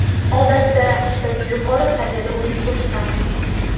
Odatda biz yuqori saviyada o‘yin ko‘rsatamiz.